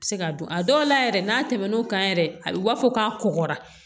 Se ka don a dɔw la yɛrɛ n'a tɛmɛn'o kan yɛrɛ a b'a fɔ k'a kɔgɔra